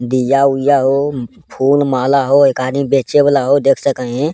दिया-ऊया हो फूल-माला हो एक आदमी बेचे वाला हो देख सके हीं।